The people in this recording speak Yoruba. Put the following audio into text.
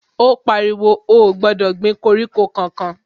Ó pariwo, ó ò gbọ́dọ̀ gbin koríko kankan